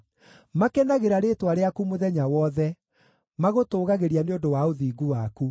Makenagĩra rĩĩtwa rĩaku mũthenya wothe; magũtũũgagĩria nĩ ũndũ wa ũthingu waku.